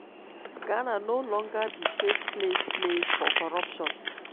ghana no longer be safe place place for corruption."